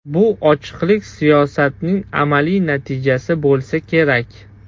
Bu ochiqlik siyosatining amaliy natijasi bo‘lsa kerak.